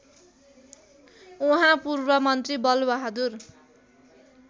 उहाँ पूर्वमन्त्री बलबहादुर